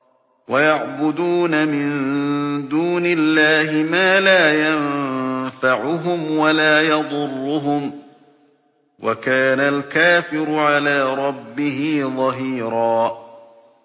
وَيَعْبُدُونَ مِن دُونِ اللَّهِ مَا لَا يَنفَعُهُمْ وَلَا يَضُرُّهُمْ ۗ وَكَانَ الْكَافِرُ عَلَىٰ رَبِّهِ ظَهِيرًا